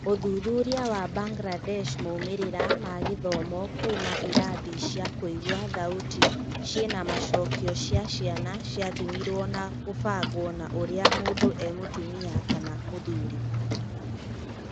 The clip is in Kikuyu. Uthuthuria wa Mbangirandesh, , moimĩrĩra ma gĩthomo kuuma irathi cia kũigua thauti ciĩna-macokĩo cia ciana ciathimirwo na gũbangwo na ũrĩa mũndũ e-mũtumia kana mũthuri.